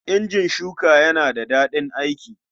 Injin shuka yana da daɗin aiki.